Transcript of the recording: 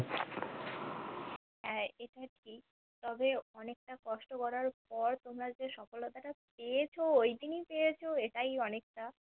হা এটা ঠিক তবে অনেকটা কষ্ট করার পর তোমরা যে সফলতা টা পেয়েছো ঐদিন এ পেয়েছো এটাই অনেকটা